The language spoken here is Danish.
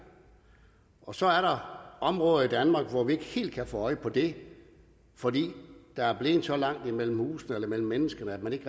så er der områder i danmark hvor vi ikke helt kan få øje på det fordi der er blevet så langt imellem husene og imellem mennesker at man ikke